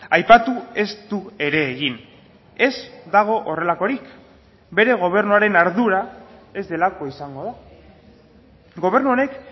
aipatu ez du ere egin ez dago horrelakorik bere gobernuaren ardura ez delako izango da gobernu honek